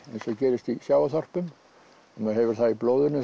og gerist í sjávarþorpum maður hefur það í blóðinu